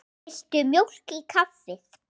Viltu mjólk í kaffið?